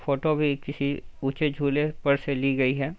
Photo भी किसी ऊँचे झूले पर से ली गयी है।